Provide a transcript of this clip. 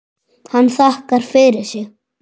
Hann þakkar fyrir sig.